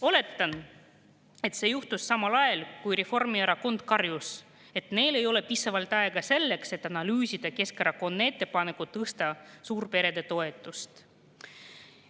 Oletan, et see juhtus samal ajal, kui Reformierakond karjus, et neil ei ole piisavalt aega selleks, et analüüsida Keskerakonna ettepanekut tõsta suurperede toetust.